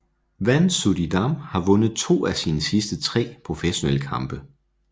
Van Suijdam har vundet to af sine sidste tre professionelle kampe